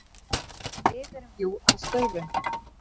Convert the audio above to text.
Við erum jú að störfum.